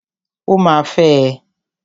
Ó ma fẹ́ ẹ.